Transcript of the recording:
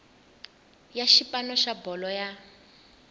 ya xipano xa bolo ya